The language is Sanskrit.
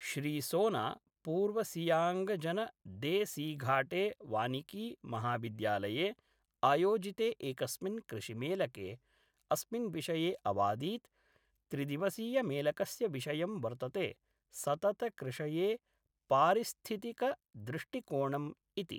श्रीसोना पूर्वसियांगजन दे सीघाटे वानिकी महाविद्यालये आयोजिते एकस्मिन् कृषिमेलके अस्मिन्विषये अवादीत् त्रिदिवसीयमेलकस्य विषयं वर्तते सततकृषये पारिस्थितिकदृष्टिकोणम् इति।